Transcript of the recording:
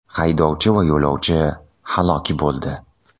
Haydovchi va yo‘lovchi halok bo‘ldi.